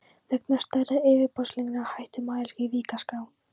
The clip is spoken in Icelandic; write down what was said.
Vegna stærðar yfirborðsbylgnanna hætti mælirinn í Vík að skrá.